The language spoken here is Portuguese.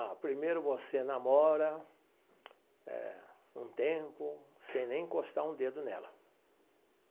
Ah, primeiro você namora eh um tempo sem nem encostar um dedo nela.